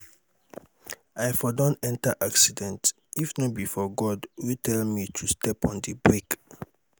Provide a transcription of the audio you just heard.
i for don enter accident if no be for god wey tell me to step on the brake.